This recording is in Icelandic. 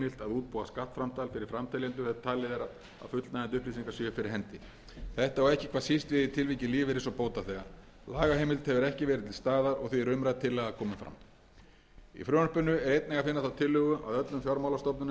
útbúa skattframtal fyrir framteljendur þegar talið er að fullnægjandi upplýsingar séu fyrir hendi þetta á ekki hvað síst við í tilviki lífeyris og bótaþega lagaheimild hefur ekki verið til staðar og því er umrædd tillaga komin fram í frumvarpinu er einnig að finna þá tillögu að öllum fjármálastofnunum verði